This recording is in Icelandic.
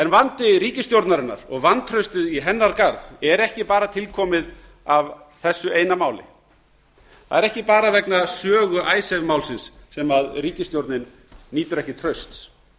vandi ríkisstjórnarinnar og vantraustið í hennar garð er ekki bara til komið af þessu eina máli það er ekki bara vegna sögu icesave málsins sem ríkisstjórnin nýtur ekki trausts